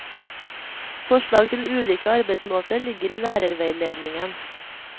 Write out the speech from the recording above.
Forslag til ulike arbeidsmåter ligger i lærerveiledningen.